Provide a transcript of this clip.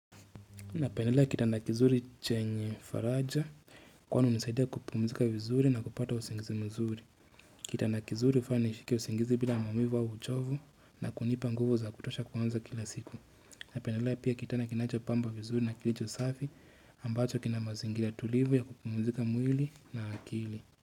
Napendelea kitanda kizuri chenye faraja, kwani hunisaidia kupumzika vizuri na kupata usingizi mzuri. Kitanda kizuri hufanya nishike usingizi bila maumivu au uchovu na kunipa nguvu za kutosha kuanza kila siku. Napendelea pia kitanda kinachopamba vizuri na kilicho safi ambacho kina mazingira tulivu ya kupumzika mwili na akili.